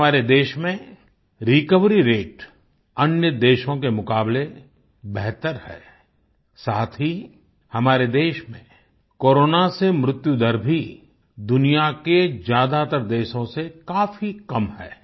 आज हमारे देश में रिकवरी रते अन्य देशों के मुकाबले बेहतर है साथ ही हमारे देश में कोरोना से मृत्युदर भी दुनिया के ज्यादातर देशों से काफ़ी कम है